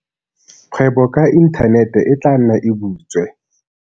Kgwebo ka inthanete e tla nna e butswe.